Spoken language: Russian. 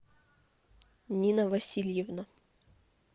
нина васильевна